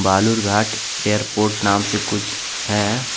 Balurghat airport नाम से कुछ है।